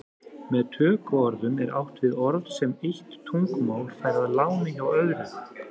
Með tökuorðum er átt við orð sem eitt tungumál fær að láni hjá öðru.